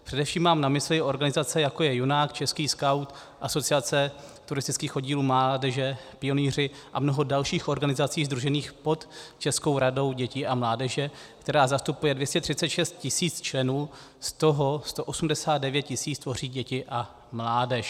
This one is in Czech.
Především mám na mysli organizace, jako je Junák - český skaut, Asociace turistických oddílů mládeže, pionýři a mnoho dalších organizací sdružených pod Českou radou dětí a mládeže, která zastupuje 236 tisíc členů, z toho 189 tisíc tvoří děti a mládež.